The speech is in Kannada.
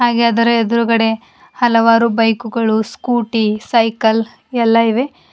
ಹಾಗೆ ಅದರ ಎದ್ರುಗಡೆ ಹಲವಾರು ಬೈಕುಗಳು ಸ್ಕೂಟಿ ಸೈಕಲ್ ಎಲ್ಲ ಇವೆ.